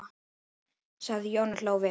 sagði Jón og hló við.